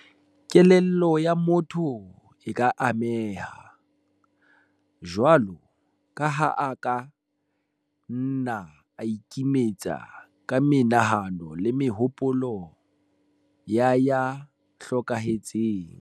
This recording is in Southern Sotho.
Kelello ya motho e ka ameha, jwalo ka ha a ka nna a ikimetsa ka menahano le mehopolo ya ya hlokahetseng.